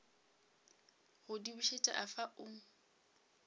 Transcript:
go di bušet afa o